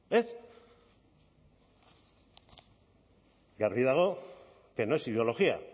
eta argi dago que no es ideología